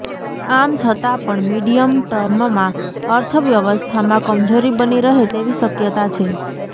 આમ છતા પણ મીડિયમ ટર્મમાં અર્થવ્યવસ્થામાં કમજોરી બની રહે તેવી શક્યતા છે